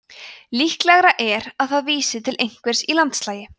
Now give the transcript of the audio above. líklegra er að það vísi til einhvers í landslagi